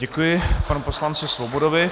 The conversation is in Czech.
Děkuji panu poslanci Svobodovi.